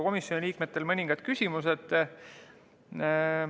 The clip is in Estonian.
Komisjoni liikmetel olid ka mõningad küsimused.